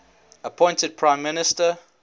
appointed prime minister